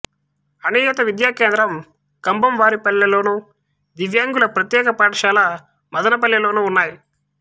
అనియత విద్యా కేంద్రం కంభంవారిపల్లె లోను దివ్యాంగుల ప్రత్యేక పాఠశాల మదనపల్లె లోనూ ఉన్నాయి